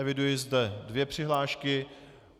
Eviduji zde dvě přihlášky.